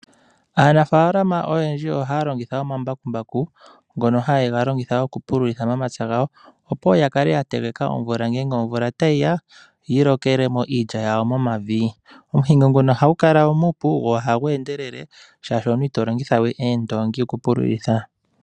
Aanafalama oyendji ohaya longitha omambakumbaku, ngono haye ga longitha okupululitha momapya gawo, opo ya kale ya teleka omvula ngenge omvula tayi ya, yi lokele mo iilya yawo momavi. Omuhingo nguno ohagu kala wo muupu go ohagu endelele shaashi omuntu ito longitha we, oondoongi okupululitha.